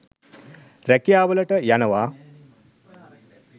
රැකියාවලට යනවා.